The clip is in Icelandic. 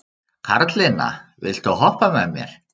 Karlinna, viltu hoppa með mér?